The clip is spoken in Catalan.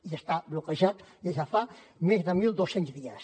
i està bloquejat des de fa més de mil dos cents dies